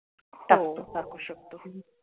टाकू शकतो